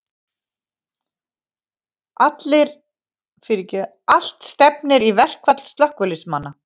Allt stefnir í verkfall slökkviliðsmanna